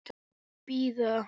Og bíða.